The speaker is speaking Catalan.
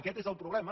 aquest és el problema